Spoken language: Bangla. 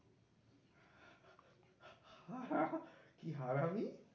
কি